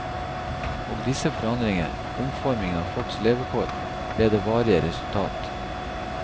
Og disse forandringer, omformingen av folks levekår, ble det varige resultat.